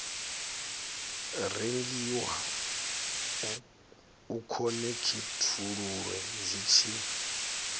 rengiwa u khonekhithululwe zwi tshi